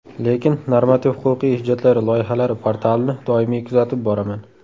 Lekin normativ-huquqiy hujjatlari loyihalari portalini doimiy kuzatib boraman.